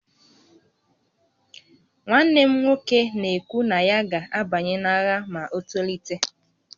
Nwanne m nwoke na-ekwu na ya ga-abanye n'agha ma o tolite